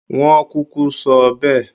Wọ́n kúkú sọ bẹ́ẹ̀